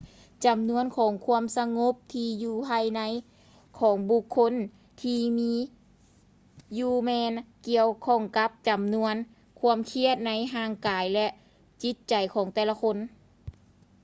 ຈຳນວນຂອງຄວາມສະຫງົບທີ່ຢູ່ພາຍໃນຂອງບຸກຄົນທີ່ມີຢູ່ແມ່ນກ່ຽວຂ້ອງກັບຈຳນວນຄວາມຄຽດໃນຮ່າງກາຍ ແລະ ຈິດໃຈຂອງແຕ່ລະຄົນ